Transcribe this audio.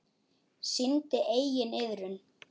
Sýndi enginn iðrun?